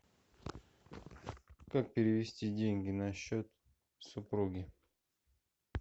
как перевести деньги на счет супруги